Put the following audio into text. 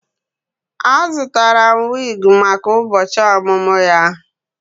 Azụtara m wig maka ụbọchị ọmụmụ ya